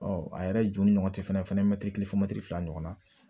a yɛrɛ ju ni ɲɔgɔn cɛ fɛnɛ mɛtiri fɔ mɛtiri fila ɲɔgɔnna